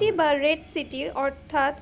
City বা red city অর্থাৎ